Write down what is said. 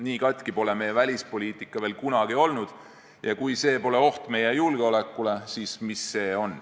Nii katki pole meie välispoliitika veel kunagi olnud ja kui see pole oht meie julgeolekule, siis mis see on.